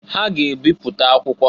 Ha ga-ebipụta akwụkwọ.